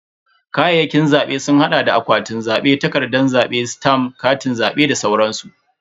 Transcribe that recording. Kayayyakin zabe sun hada da akwatin zabe, takardan zabe, stamf, Katin zabe da sauransu.